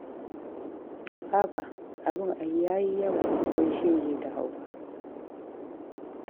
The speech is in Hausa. Haba, abin ai ya yi yawa, wai shege da hauka.